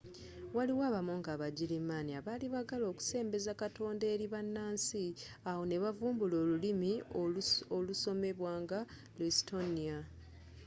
waliwo abamonko abagirimaani abaali baagala okusembeza katonda eri bannansi awo ne bavumbula olulimi olusomebwa nga luestonia